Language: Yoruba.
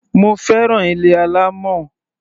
Mo fẹ́ràn ilé alámọ̀.